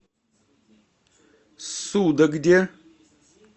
судогде